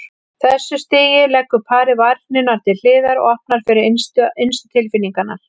þessu stigi leggur parið varnirnar til hliðar og opnar fyrir innstu tilfinningarnar.